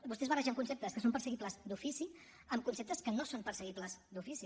vostès barregen conceptes que són perseguibles d’ofici amb conceptes que no són perseguibles d’ofici